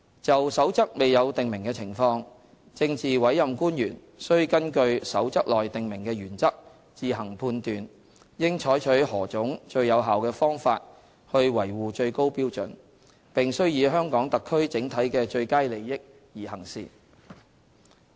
就《守則》未有訂明的情況，政治委任官員須根據《守則》內訂明的原則自行判斷，應採取何種最有效的方法去維護最高標準，並須以香港特區整體的最佳利益而行事。